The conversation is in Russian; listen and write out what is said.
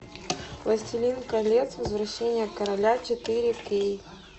властелин колец возвращение короля четыре кей